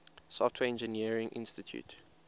software engineering institute